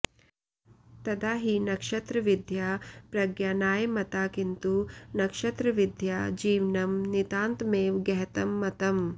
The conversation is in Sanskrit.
तदा हि नक्षत्रविद्या प्रज्ञानाय मता किन्तु नक्षत्रविद्यया जीवनं नितान्तमेव गहतं मतम्